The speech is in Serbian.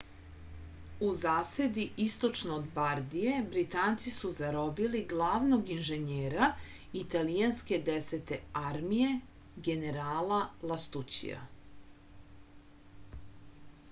u zasedi istočno od bardije britanci su zarobili glavnog inženjera italijanske desete armije generala lastućija